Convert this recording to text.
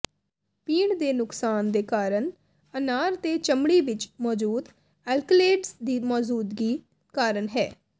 ਪੀਣ ਦੇ ਨੁਕਸਾਨ ਦੇ ਕਾਰਨ ਅਨਾਰ ਦੇ ਚਮੜੀ ਵਿੱਚ ਮੌਜੂਦ ਅਲਕਲੇਡਜ਼ ਦੀ ਮੌਜੂਦਗੀ ਕਾਰਨ ਹੈ